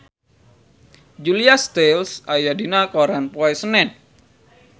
Julia Stiles aya dina koran poe Senen